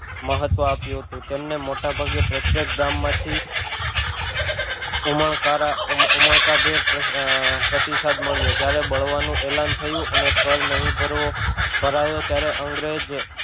મહત્વ આપ્યું હતું તેમણે મોટાભાગે પ્રત્યેક ગામ માંથી ઉમણકારા ઉમણકાભેર પ્રતિસાદ મળ્યો જ્યારે બળવાનું એલાન થયું અને કર નહિ ભરવો ભરાયો ત્યારે અંગ્રેજ